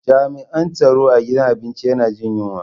Jami'an tsaro a gidan abinci yana jin yunwa.